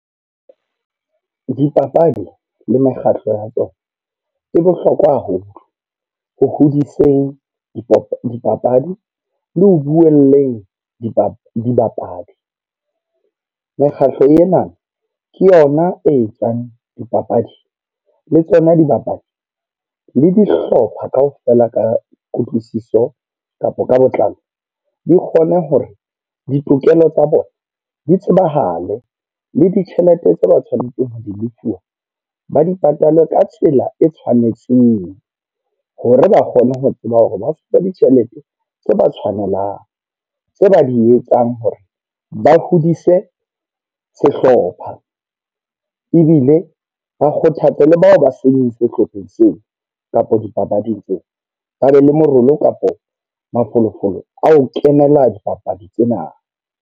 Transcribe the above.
Dipapadi le mekgatlo ya tsona, e bohlokwa haholo ho hodiseng dipapadi le ho bueleng dibapadi. Mekgatlo ena ke yona e etsang dipapadi le tsona dibapadi le dihlopha kaofela ka kutlwisiso kapa ka botlalo. Di kgone hore ditokelo tsa bona di tsebahale le ditjhelete tse ba tshwanetse ho be le fuwa ba di patale ka tsela e tshwanetseng. Hore ba kgone ho tseba hore ba fuwe ditjhelete tse ba tshwanelang, tse ba di etsang hore ba hodise sehlopha. Ebile ba kgothatse le bao ba seng sehlopheng seo kapa dipapading tseo. Ba be le morolo kapo mafolofolo a ho kenela dipapadi tsena.